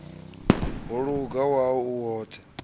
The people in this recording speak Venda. ho luga wau u woṱhe